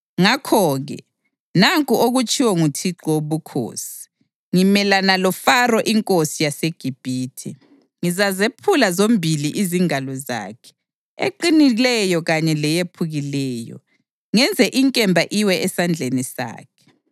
Ngakho-ke nanku okutshiwo nguThixo Wobukhosi: Ngimelana loFaro inkosi yaseGibhithe. Ngizazephula zombili izingalo zakhe, eqinileyo kanye leyephukileyo, ngenze inkemba iwe esandleni sakhe.